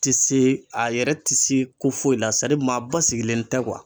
Ti se a yɛrɛ ti se ko foyi la sa maa basigilen tɛ